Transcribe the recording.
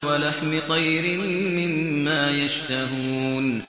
وَلَحْمِ طَيْرٍ مِّمَّا يَشْتَهُونَ